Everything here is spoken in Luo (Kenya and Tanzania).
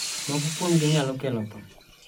Moko kuomgi nyalo kelo tho.